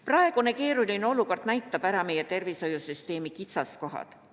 Praegune keeruline olukord näitab ära meie tervishoiusüsteemi kitsaskohad.